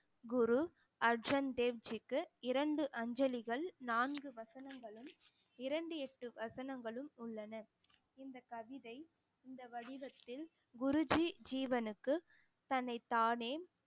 குரு அர்ஜன் தேவ்ஜிக்கு இரண்டு அஞ்சலிகள் நான்கு வசனங்களும் இரண்டு எட்டு வசனங்களும் உள்ளன இந்த கவிதை இந்த வடிவத்தில் குருஜி ஜீவனுக்கு தன்னைத்தானே